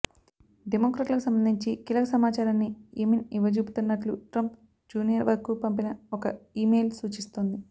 డెమొక్రాట్లకు సంబంధించి కీలక సమాచారాన్ని ఎమిన్ ఇవ్వజూపుతున్నట్లు ట్రంప్ జూనియర్కు పంపిన ఒక ఈమెయిల్ సూచిస్తోంది